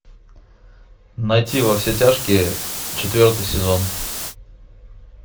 найти во все тяжкие четвертый сезон